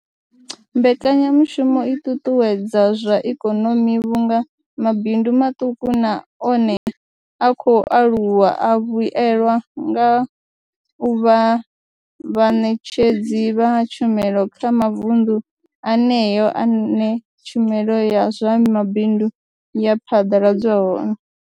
Mbekanyamushumo i ṱuṱuwedza zwa ikonomi vhunga mabindu maṱuku na one a khou aluwa a vhuelwa nga u vha vhaṋetshedzi vha tshumelo kha mavunḓu eneyo ane tshumelo ya zwa mabindu ya phaḓaladzwa hone.